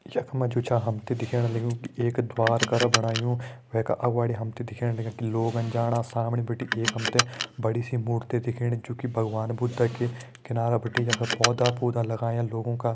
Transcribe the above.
ख मा जू छ हम तैं दिखेण लग्युं की एक द्वार कर बणायुं वे का अगाड़ी दिखेण लग्युं कि लोग अन जाणा सामने बिटि एक हम तैं बड़ी सी मूर्ति दिखेणी जू की भगवान बुद्ध की किनारा बिटि यख पौधा पूधा लग्यां लोगों का।